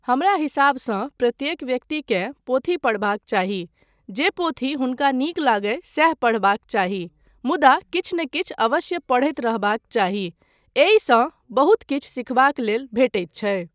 हमरा हिसाबसँ प्रत्येक व्यक्तिकेँ पोथी पढ़बाक चाही, जे पोथी हुनका नीक लागय सैह पढ़बाक चाही मुदा किछु नहि किछु अवश्य पढ़ैत रहबाक चाही, एहिसँ बहुत किछु सिखबाक लेल भेटैत छै।